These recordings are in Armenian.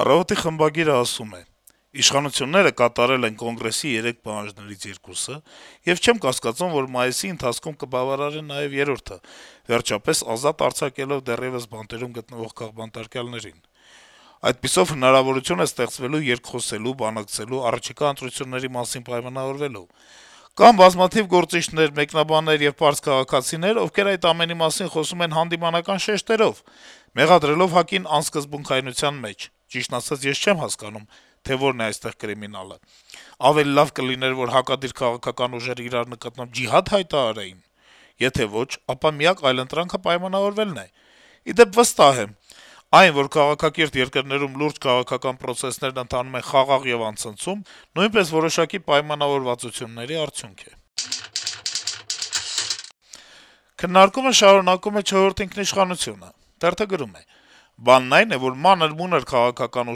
«Առավոտ»-ի խմբագիրը գրում է. - «Իշխանությունները կատարել են Կոնգրեսի երեք պահանջներից երկուսը, եւ չեմ կասկածում, որ մայիսի ընթացքում կբավարարեն նաեւ երրորդը` վերջապես ազատ արձակելով դեռեւս բանտերում գտնվող քաղբանտարկյալներին: Այդպիսով հնարավորություն է ստեղծվելու երկխոսելու, բանակցելու, առաջիկա ընտրությունների մասին պայմանավորվելու: Կան բազմաթիվ գործիչներ, մեկնաբաններ եւ պարզ քաղաքացիներ, ովքեր այդ ամենի մասին խոսում են հանդիմանական շեշտերով` մեղադրելով ՀԱԿ-ին «անսկզբունքայնության մեջ»: Ճիշտն ասած, ես չեմ հասկանում, թե որն է այստեղ «կրիմինալը»: Ավելի լավ կլիներ, որ հակադիր քաղաքական ուժերը իրար նկատմամբ «ջիհա՞դ» հայտարարեին: Եթե ոչ, ապա միակ այլընտրանքը պայմանավորվելն է: Ի դեպ, վստահ եմ. այն, որ քաղաքակիրթ երկրներում լուրջ քաղաքական պրոցեսներն ընթանում են խաղաղ եւ անցնցում, նույնպես որոշակի պայմանավորվածությունների արդյունք է»: Քննարկումը շարունակում է «Չորրորդ ինքնիշխանություն»-ը. - «Բանն այն է, որ մանր-մունր քաղաքական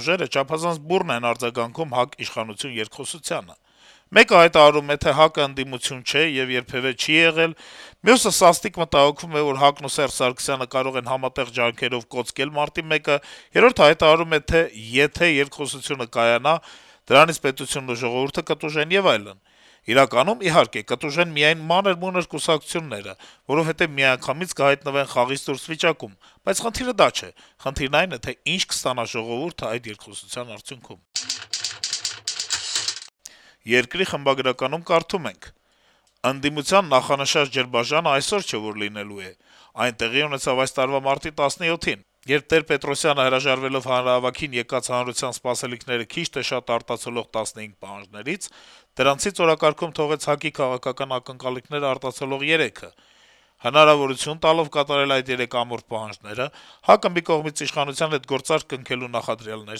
ուժերը չափազանց բուռն են արձագանքում ՀԱԿ - իշխանություն երկխոսությանը: Մեկը հայտարարում է, թե ՀԱԿ-ը ընդդիմություն չէ եւ երբեւէ չի եղել, մյուսը սաստիկ մտահոգվում է, որ ՀԱԿ-ն ու Սերժ Սարգսյանը կարող են «համատեղ ջանքերով» կոծկել մարտի 1-ը, երրորդը հայտարարում է, թե եթե երկխոսությունը կայանա` դրանից պետությունն ու ժողովուրդը կտուժեն եւ այլն: Իրականում, իհարկե, կտուժեն միայն մանր-մունր կուսակցությունները, որովհետեւ միանգամից կհայտնվեն խաղից դուրս վիճակում, բայց խնդիրը դա չէ: Խնդիրն այն է, թե ինչ կստանա ժողովուրդը այդ երկխոսության արդյունքում»: «Երկիր» թերթի խմբագրականում կարդում ենք. - «Ընդդիմության նախանշած «ջրբաժանը» այսօր չէ, որ լինելու է: Այն տեղի ունեցավ այս տարվա մարտի 17-ին, երբ Տեր-Պետրոսյանը, հրաժարվելով հանրահավաքին եկած հանրության սպասելիքները քիչ թե շատ արտացոլող 15 պահանջներից, դրանցից օրակարգում թողեց ՀԱԿ-ի քաղաքական ակնկալիքներն արտացոլող երեքը: Հնարավորություն տալով կատարել այդ երեք ամորֆ պահանջները` ՀԱԿ-ը մի կողմից իշխանության հետ գործարք սկսելու նախադրյալներ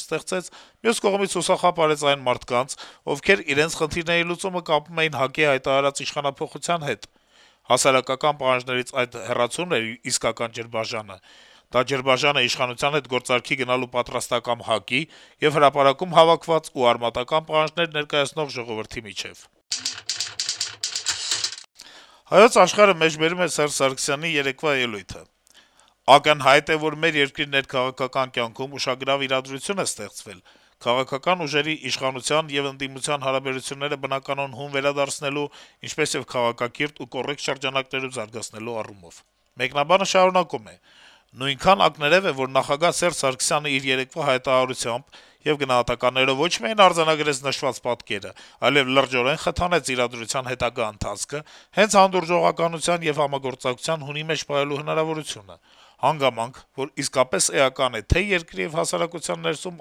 ստեղծեց, մյուս կողմից՝ հուսախաբ արեց այն մարդկանց, ովքեր իրենց խնդիրների լուծումը կապել էին ՀԱԿ-ի հայտարարած իշխանափոխության հետ: Հասարակական պահանջներից այս հեռացումն էր իրական ջրբաժանը. դա ջրբաժան էր իշխանության հետ գործարքի գնալու պատրաստակամ ՀԱԿ-ի եւ հրապարակում հավաքված ու արմատական պահանջներ ներկայացնող ժողովրդի միջեւ»: «Հայոց Աշխարհ»-ը անդրադառնում է Սերժ Սարգսյանի երեկվա ելույթին. - «Ակնհայտ է, որ մեր երկրի ներքաղաքական կյանքում ուշագրավ իրադրություն է ստեղծվել՝ քաղաքական ուժերի, իշխանության եւ ընդդիմության հարաբերությունները բնականոն հուն վերադարձնելու, ինչպեսեւ քաղաքակիրթ ու կոռեկտ շրջանակներում զարգացնելու առումներով։ Նույնքան ակներեւ է, որ նախագահ Սերժ Սարգսյանն իր երեկվա հայտարարությամբ ու գնահատականներով ոչ միայն արձանագրեց նշված պատկերը, այլեւ լրջորեն խթանեց իրադրության հետագա ընթացքը հենց հանդուրժողականության եւ համագործակցության հունի մեջ պահելու հնարավորությունը։ Հանգամանք, որ իսկապես էական է թե՛ երկրի եւ հասարակության ներսում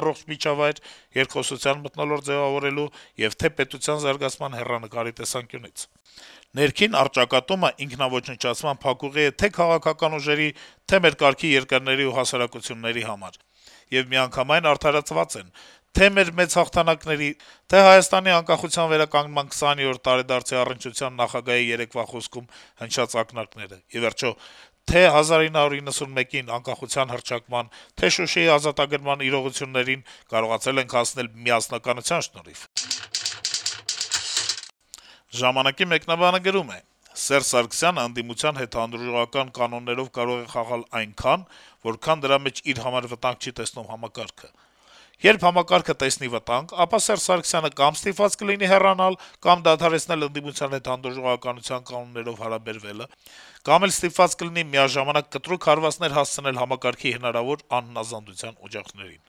առողջ միջավայր, երկխոսության մթնոլորտ ձեւավորելու, եւ թե՛ պետության զարգացման հեռանկարի տեսանկյունից։ Ներքին առճակատումն ինքնաոչնչացման փակուղի է թե՛ քաղաքական ուժերի, թե՛ մեր կարգի երկրների ու հասարակությունների համար։ Եվ միանգամայն արդարացված են թե՛ մեր մեծ հաղթանակների, թե՛ Հայաստանի անկախության վերականգնման 20-րդ տարեդարձի առնչությամբ նախագահի երեկվա խոսքում հնչած ակնարկները։ Ի վերջո, թե՛ 1991-ին՝ անկախության հռչակման, թե՛ Շուշիի ազատագրման իրողություններին կարողացել ենք հասնել միասնականության շնորհիվ»։ «Ժամանակ»-ի մեկնաբանը գրում է. - «Սերժ Սարգսյանն ընդդիմության հետ հանդուրժողական կանոններով կարող է խաղալ այնքան, որքան դրա մեջ իր համար վտանգ չի տեսնում համակարգը: Երբ համակարգը տեսնի վտանգ, ապա Սերժ Սարգսյանը կա՛մ ստիպված կլինի հեռանալ, կա՛մ դադարեցնել ընդդիմության հետ հանդուրժողության կանոններով հարաբերվելը, կա՛մ էլ ստիպված կլինի միաժամանակ կտրուկ հարվածներ հասցնել համակարգի հնարավոր անհնազանդության օջախներին: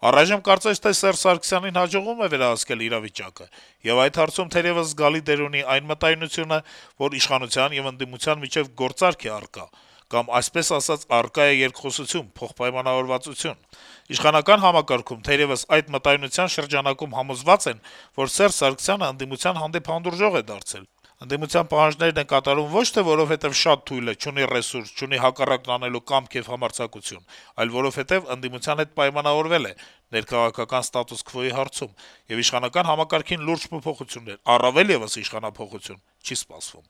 Առայժմ կարծես թե Սարգսյանին հաջողվում է վերահսկել իրավիճակը, եւ այդ հարցում, թերեւս, զգալի դեր ունի այն մտայնությունը, որ իշխանության եւ ընդդիմության միջեւ գործարք է առկա կամ այսպես ասած` առկա է երկխոսություն, փոխպայմանավորվածություն: Իշխանական համակարգում, թերեւս, այդ մտայնության շրջանակում համոզված են, որ Սերժ Սարգսյանն ընդդիմության հանդեպ հանդուրժող է դարձել, ընդդիմության պահանջներն է կատարում ոչ թե որովհետեւ շատ թույլ է, չունի ռեսուրս, չունի հակառակն անելու կամք եւ համարձակություն, այլ որովհետեւ ընդդիմության հետ պայմանավորվել է ներքաղաքական ստատուս քվոյի հարցում, եւ իշխանական համակարգին լուրջ փոփոխություններ, առավել եւս իշխանափոխություն չի սպասվում»: